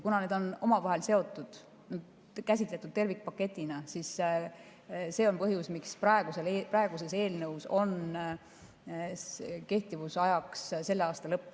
Kuna need on omavahel seotud, käsitletud tervikpaketina, siis see on põhjus, miks praeguses eelnõus on kehtivusajaks selle aasta lõpp.